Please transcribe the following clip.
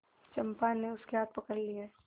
चंपा ने उसके हाथ पकड़ लिए